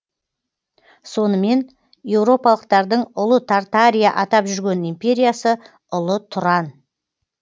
сонымен еуропалықтардың ұлы тартария атап жүрген империясы ұлы тұран